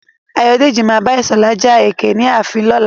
Ayọ̀dèjì má abá Ìṣọ̀lá ja ẹkẹ ní ààfin lọ́la.